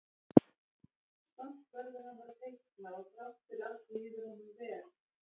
Samt verður hann að teikna og þrátt fyrir allt líður honum vel.